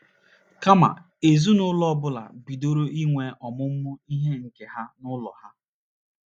Kama, ezinụlọ ọ bụla bidoro inwe ọmụmụ ihe nke ha n’ụlọ ha.